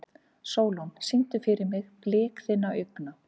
Sólon, syngdu fyrir mig „Blik þinna augna“.